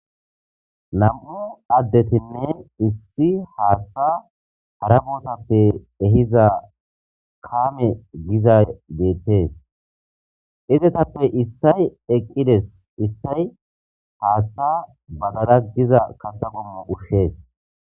nam7u addetinne issi haatta hara bootappe ehiza kaame giza geettees izetappe issay eqqides issay haatta bagada giza kata gommu ushshees